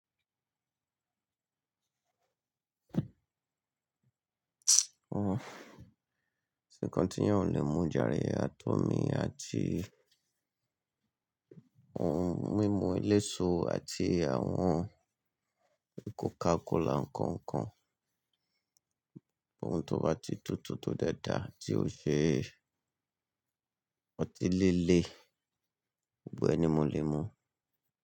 Hun, kosi nkan ti eyan o le mú jare àti omi àti ohun mímu eléso àti àwọn Coca-Cola nkankan. Ohun tó bá ti tútù tó de dáa tí ó ṣe ọtí líle, gbogbo ẹ nì mo lè mú.